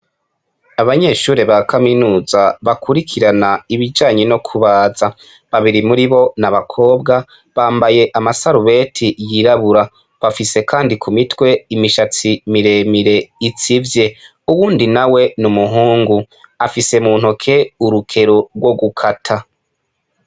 Abanyeshuri ba kaminuza bakurikirana ibijanye no kubaza babiri muri bo n'abakobwa bambaye amasarubeti yirabura bafise kandi ku mitwe imishatsi miremire itsivye uwundi nawe n'umuhungu afise mu ntoke urukero rwo gukata.